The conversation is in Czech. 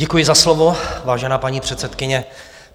Děkuji za slovo, vážená paní předsedkyně.